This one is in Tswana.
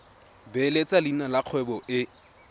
beeletsa leina la kgwebo e